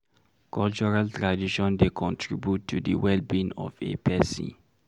Cultural tradition dey contribute to di Wellbeing of a person